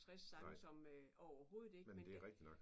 Nej. Men det rigtigt nok